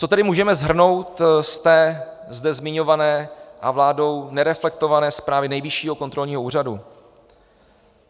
Co tedy můžeme shrnout z té zde zmiňované a vládou nereflektované zprávy Nejvyššího kontrolního úřadu?